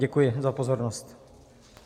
Děkuji za pozornost.